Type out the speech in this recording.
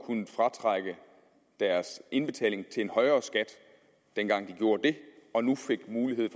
kunnet fratrække deres indbetalinger til en højere skat dengang de gjorde det og nu fik mulighed